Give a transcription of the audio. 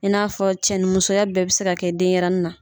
I n'a fɔ cɛni musoya bɛɛ bɛ se ka kɛ denɲɛrɛnin na.